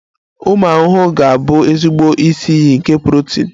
Ụmụ ahụhụ ga-abụ ezigbo isi iyi nke protini.